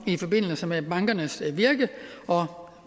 i forbindelse med bankernes virke og